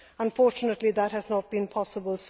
Unfortunately, that has not been possible.